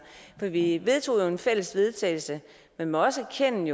vi vi vedtog jo et fælles vedtagelse men må også erkende